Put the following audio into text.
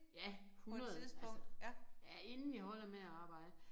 Ja 100 altså ja inden vi holder med at arbejde